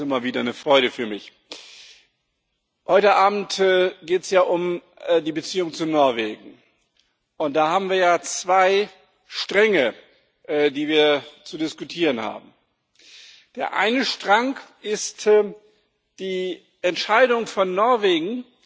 Das ist immer wieder eine Freude für mich. Heute Abend geht es ja um die Beziehungen zu Norwegen, und da haben wir zwei Stränge, die wir zu diskutieren haben Der eine Strang ist die Entscheidung Norwegens,